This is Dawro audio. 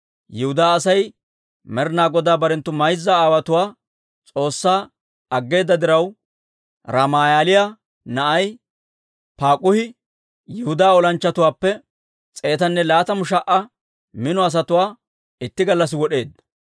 Yihudaa Aasi Med'inaa Godaa barenttu mayza aawotuwaa S'oossaa aggeeda diraw, Ramaaliyaa na'ay Paak'uhi Yihudaa olanchchatuwaappe s'eetanne laatamu sha"a mino asatuwaa itti gallassi wod'eedda.